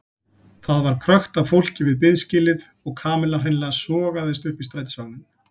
Það var krökkt af fólki við biðskýlið og Kamilla hreinlega sogaðist upp í strætisvagninn.